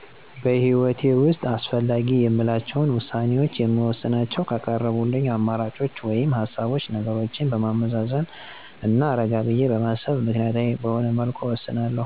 በህይወቴ ውስጥ አስፈላጊ የምላቸውን ውሳኔዎች የምወስናቸው ከቀረቡልኝ አማራጮች ወይም ሀሳቦች ነገሮችን በማመዛዘንና ረጋ ብዬ በማሰብ ምክንያታዊ በሆነ መልኩ እወስናለሁ